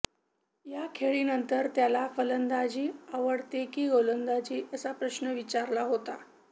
या खेळीनंतर त्याला फलंदाजी आवडते की गोलंदाजी असा प्रश्न विचारला होता